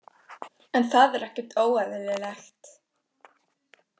En það er ekkert óeðlilegt.